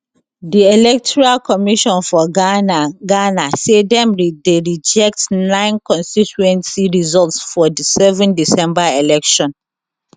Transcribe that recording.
di electoral commission for ghana ghana say dem dey reject nine constituency results for di 7 december election